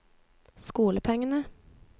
skolepengene